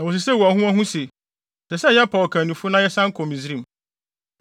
Na wosisee wɔn ho wɔn ho sɛ, “Ɛsɛ sɛ yɛpaw ɔkannifo na yɛsan kɔ Misraim.”